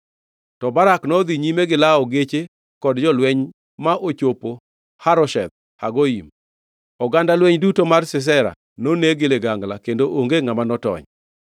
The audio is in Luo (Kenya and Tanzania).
To Barak nodhi nyime gi lawo geche kod jolweny ma ochopo Harosheth Hagoyim. Oganda lweny duto mar Sisera noneg gi ligangla; kendo onge ngʼama notony.